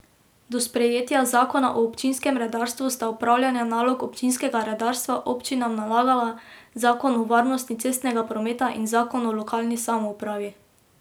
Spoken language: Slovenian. Do sprejetja zakona o občinskem redarstvu sta opravljanje nalog občinskega redarstva občinam nalagala zakon o varnosti cestnega prometa in zakon o lokalni samoupravi.